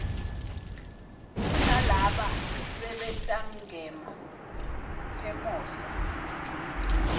kunalaba sebentangema khemosra